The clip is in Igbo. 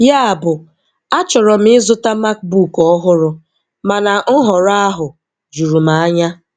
Yabụ, achọrọ m ịzụta MacBook ọhụrụ, mana nhọrọ ahụ juru m anya.